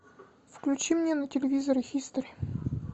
включи мне на телевизоре хистори